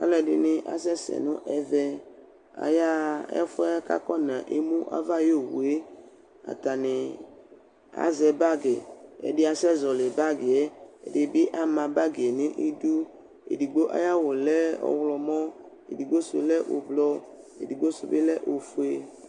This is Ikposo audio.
Ɔsɩfue dɩ akɔ tsɩtsɩ ɔwɛ adʋ awʋ vɛ, azɛ ukpi nʋ aɣla kʋ azɛ itsu ɔvɛ nʋ ofue, sɔlɔ dɩ bɩ ya nʋ ayʋ ɩtsɛdɩ